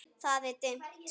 Það er dimmt.